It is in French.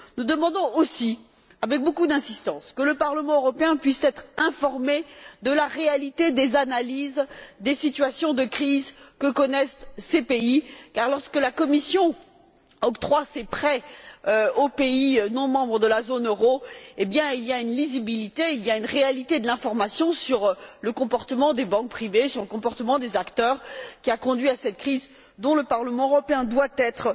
Nous demandons aussi avec beaucoup d'insistance que le Parlement européen puisse être informé de la réalité des analyses des situations de crise que connaissent ces pays car, lorsque la Commission octroie ses prêts aux pays non membres de la zone euro, il y a une lisibilité, il y a une réalité de l'information sur le comportement des banques privées, sur le comportement des acteurs, qui a conduit à cette crise dont le Parlement européen doit être